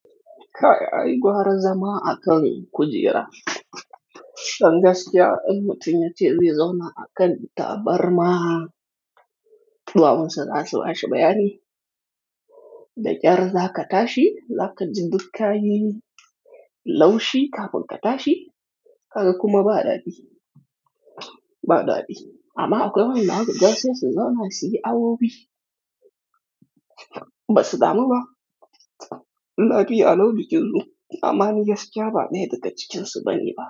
Kai ai gwara zama a kan kujera. Dan gaskiya, in mutum ya ce zai zauna a kan tabarma, tuwawun sa za su bashi bayani. Da ƙyar za ka tashi, za ka ji duk kayi, laushi kafin ka tashi, ka ga kuma ba daɗi, ba daɗi. Amma a gaba ina gasu su zauna su yi awowi, ba su damu ba. Ladi a launi kenzo, amman gaskiya ba daya daga cikinsu bane ba.